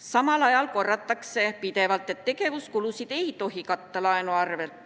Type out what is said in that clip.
Samal ajal korratakse pidevalt, et tegevuskulusid ei tohi katta laenu arvel.